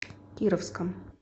кировском